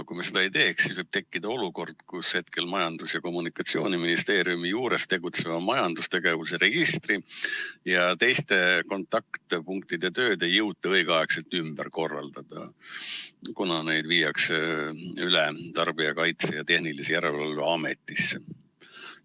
Kui me seda muudatust ei teeks, võib tekkida olukord, et praegu Majandus- ja Kommunikatsiooniministeeriumi juures tegutseva majandustegevuse registri ja toote kontaktpunktide tööd ei jõuta õigeaegselt ümber korraldada, kuna need viiakse üle Tarbijakaitse ja Tehnilise Järelevalve Ametisse.